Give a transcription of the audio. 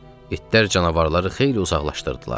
İtlər canavarları xeyli uzaqlaşdırdılar.